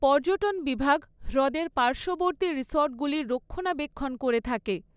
পর্যটন বিভাগ হ্রদের পার্শ্ববর্তী রিসর্টগুলির রক্ষণাবেক্ষণ করে থাকে।